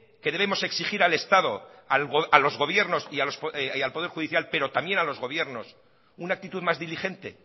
que debemos exigir al estado a los gobiernos y al poder judicial pero también a los gobiernos una actitud más diligente